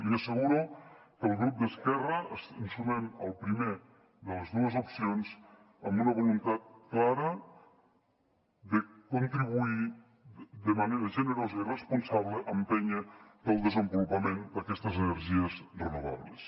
li asseguro que el grup d’esquerra ens sumem a la primera de les dues opcions amb una voluntat clara de contribuir de manera generosa i responsable a empènyer per al desenvolupament d’aquestes energies renovables